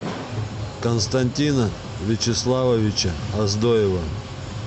константина вячеславовича оздоева